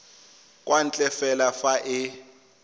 kwa ntle fela fa e